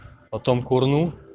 потом курну